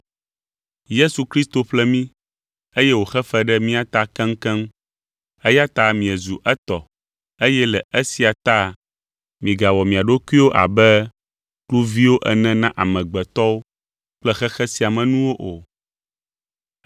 Yesu Kristo ƒle mi, eye wòxe fe ɖe mia ta keŋkeŋ eya ta miezu etɔ eye le esia ta migawɔ mia ɖokuiwo abe kluviwo ene na amegbetɔwo kple xexe sia me nuwo o.